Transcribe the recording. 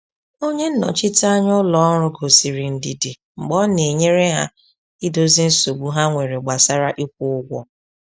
Onye nnọchiteanya ụlọ ọrụ gosiri ndidi mgbe ọ na-enyere ha idozi nsogbu ha nwere gbasara ịkwụ ụgwọ.